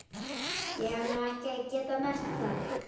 Ég hef nú ekki getað merkt það.